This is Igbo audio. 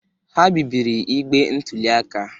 Ha bibiri igbe ntụli aka.